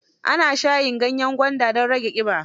Ana shayin ganyen gwanda don rage ƙiba.